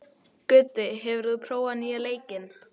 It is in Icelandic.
Gutti, hefur þú prófað nýja leikinn?